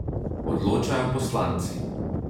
Odločajo poslanci!